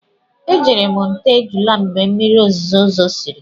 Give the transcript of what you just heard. Ee, ejere m nta ejula mgbe mmiri ozuzo zosiri.